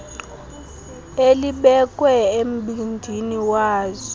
elibekwe embindini wazo